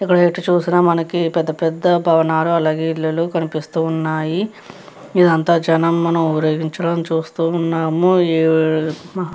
ఇక్కడ ఎటు చూసినా పెద్ద పెద్ద భవనాలు అలాగే ఇల్లులు మనకి కనిపిస్తున్నాయి. ఇదంతా జనం నించుని ఊరేగించడం చూస్తూ ఉన్నాము. --